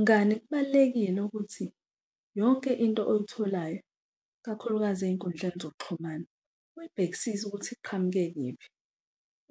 Mngani kubalulekile ukuthi yonke into oyitholayo, ikakhulukazi ey'nkundleni zokuxhumana uyibhekisise ukuthi iqhamuke kuyiphi